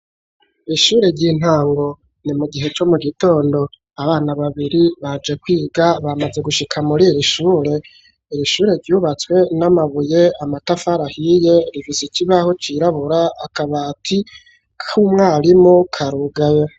Ishure ry'intango ni mu gihe cyo mu gitondo abana babiri baje kwiga bamaze gushika muri iri shure iri shure ryubatswe n'amabuye, Amatafari ahiye rifise ikibaho cirabura akabati k'umwarimu karugabe.